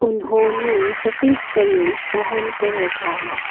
उन्होंने सफेद कमीज पहन कर रखा है।